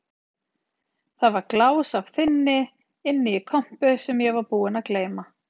Það var glás af þynni inni í kompu sem ég var búinn að gleyma.